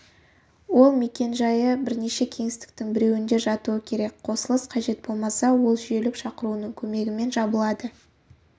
ол мекен-жайы бірнеше кеңістіктің біреуінде жатуы керек қосылыс қажет болмаса ол жүйелік шақыруының көмегімен жабылады